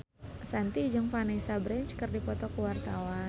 Shanti jeung Vanessa Branch keur dipoto ku wartawan